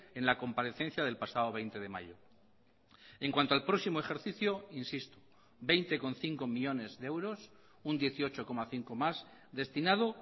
en la comparecencia del pasado veinte de mayo en cuanto al próximo ejercicio insisto veinte coma cinco millónes de euros un dieciocho coma cinco más destinado